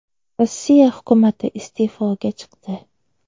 Rossiya hukumati iste’foga chiqdi.